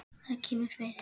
Það kemur fyrir.